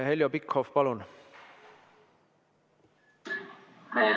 Heljo Pikhof, palun!